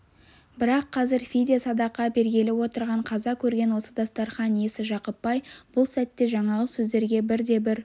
бірақ қазір фидия садақа бергелі отырған қаза көрген осы дастарқан иесі жақып бай бұл сәтте жаңағы сөздерге бірде-бір